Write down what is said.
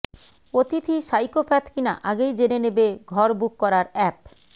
অতিথি সাইকোপ্যাথ কিনা আগেই জেনে নেবে ঘর বুক করার অ্যাপ